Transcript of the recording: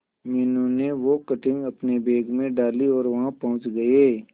मीनू ने वो कटिंग अपने बैग में डाली और वहां पहुंच गए